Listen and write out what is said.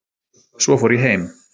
Svo fór ég heim